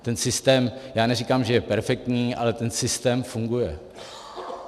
Ten systém, já neříkám, že je perfektní, ale ten systém funguje.